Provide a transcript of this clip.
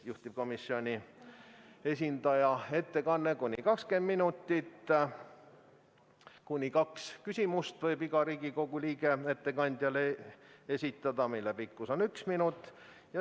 Juhtivkomisjoni esindaja ettekanne on kuni 20 minutit ja iga Riigikogu liige võib talle esitada kaks küsimust, mille pikkus on üks minut.